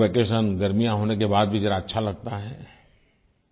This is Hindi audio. समर वैकेशन गर्मियां होने के बाद भी अच्छा लगता है